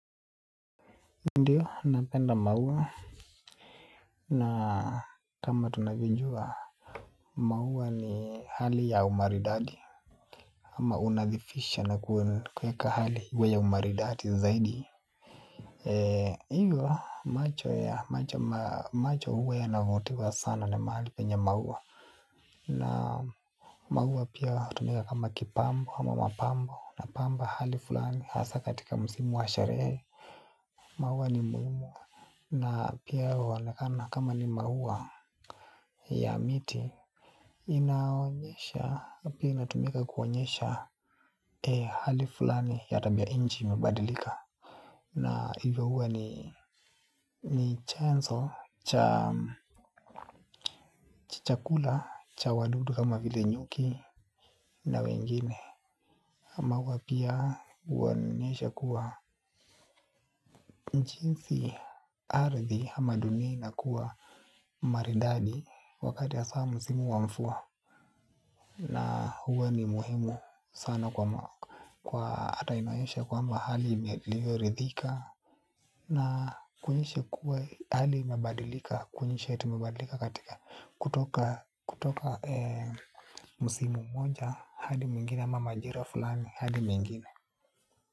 Ndiyo, napenda maua na kama tunavyojua maua ni hali ya umaridati. Ama unadhifisha na kueka hali uwe ya umaridati zaidi. Iyo, macho ya macho huwa yanavutiwa sana na mahali penye maua. Na maua pia tumika kama kipambo ama mapambo na pamba hali fulani hasa katika msimu wa sharehe. Mauwa ni muimu. Na pia waonakana kama ni mauwa ya miti. Inaonyesha pina tumika kuonyesha E hali fulani ya tabia inji imabadilika. Na hivyo huwa ni chanso cha chakula cha wadudu kama vile nyuki na wengine. Mauwa pia uonyesha kuwa nchinsi ardhi hama dunia inakuwa maridadi wakati ya hasaa msimu wa mfua. Na huwe ni muhimu sana kwa atainayoshe kwamba hali ime ilivyorithika. Na kunyeshe kuwe hali imebadilika. Kunyeshe yetu imebadilika katika kutoka musimu mmoja hadi mwingine ama majira fulani hadi mengine.